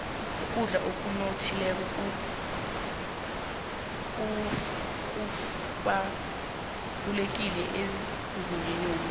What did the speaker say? ukudla okunothileko kubalulekile emzimbeni womuntu